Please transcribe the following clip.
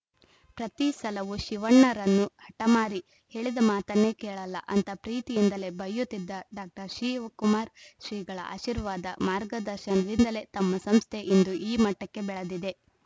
ಪ್ರತಿ ಸಲವೂ ಶಿವಣ್ಣರನ್ನು ಹಠಮಾರಿ ಹೇಳಿದ ಮಾತನ್ನೇ ಕೇಳಲ್ಲಾ ಅಂತಾ ಪ್ರೀತಿಯಿಂದಲೇ ಬೈಯುತ್ತಿದ್ದ ಡಾಶಿವಕುಮಾರ ಶ್ರೀಗಳ ಆಶೀರ್ವಾದ ಮಾರ್ಗದರ್ಶನದಿಂದಲೇ ತಮ್ಮ ಸಂಸ್ಥೆ ಇಂದು ಈ ಮಟ್ಟಕ್ಕೆ ಬೆಳೆದಿದೆ